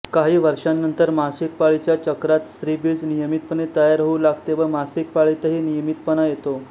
काही वर्षांनंतर मासिक पाळीच्या चक्रांत स्त्रीबीज नियमितपणे तयार होऊ लागते व मासिक पाळीतही नियमितपणा येतो